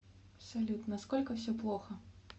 салют насколько все плохо